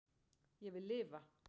Ég vil lifa